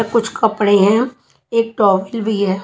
र कुछ कपड़े हैं एक टॉवेल भी हैं।